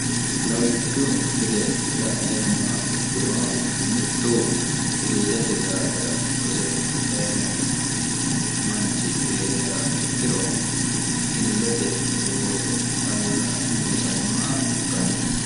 lawishshu gede la'neemmaa ikkiro mittu illete daafira rose dayino manchi eeriyaa ikkiro illete looso ca loosannowa ikkanno